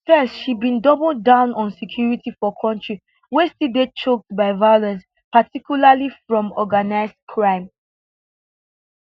first she bin double down on security for kontri wey still dey choked by violence particularly from organised crime